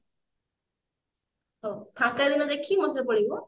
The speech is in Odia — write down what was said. ହାଉ ଫାଙ୍କା ଦିନ ଦେଖିକି ମୋ ସହିତ ପଳେଇବୁ